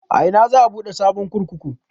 A ina za a buɗe sabon kurkuku?